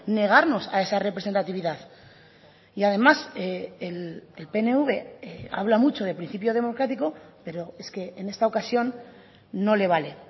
negarnos a esa representatividad y además el pnv habla mucho de principio democrático pero es que en esta ocasión no le vale